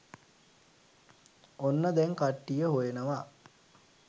ඔන්න දැන් කට්ටිය හොයනවා